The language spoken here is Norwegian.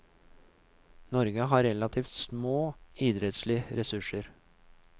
Norge har relativt små idrettslige ressurser.